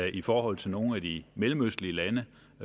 i forhold til nogle af de mellemøstlige lande